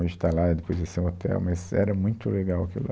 Hoje está lá e depois vai ser um hotel, mas era muito legal aquilo lá.